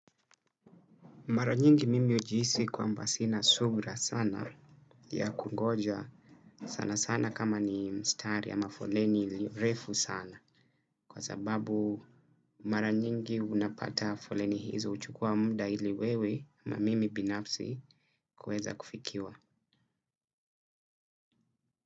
Mara nyingi mimi hujiisi kwamba sina subira sana ya kungoja, sana sana kama ni mstari ama mafoleni iliyo mrefu sana. Kwa sababu mara nyingi unapata mfoleni hizo huchukuwa muda ili wewe ma mimi binafsi kuweza kufikiwa.